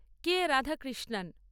কে Radhakrishnan